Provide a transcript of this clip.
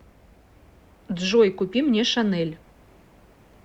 джой купи мне шанель